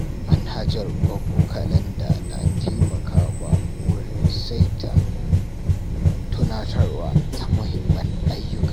Mnahajar Google Calendar na taimakawa wajen saita tunatarwa ta mahimman ayyuka.